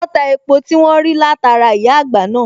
wón ta epo tí wón rí látara ìyá àgbà náà